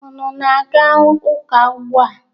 Unu na-aga ụka ugbua?